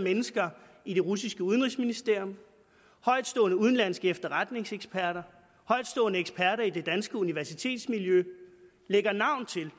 mennesker i det russiske udenrigsministerium højtstående udenlandske efterretningseksperter højtstående eksperter i det danske universitetsmiljø lægger navn til